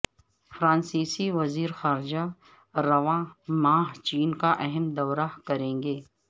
فرانسیسی وزیر خارجہ رواں ماہ چین کااہم دورہ کریں گے